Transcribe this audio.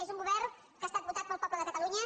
és un govern que ha estat votat pel poble de catalunya